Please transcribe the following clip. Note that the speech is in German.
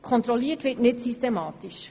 Kontrolliert wird nicht systematisch.